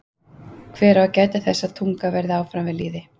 Hver á að gæta þess að tungan verði áfram við lýði?